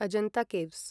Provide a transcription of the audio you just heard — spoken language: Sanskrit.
अजन्त केव्स्